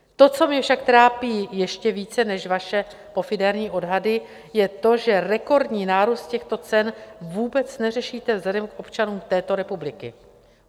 To, co mě však trápí ještě více než vaše pofiderní odhady, je to, že rekordní nárůst těchto cen vůbec neřešíte vzhledem k občanům této republiky.